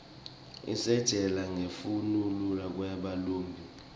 isitjela nqekufnuna kweba lumbi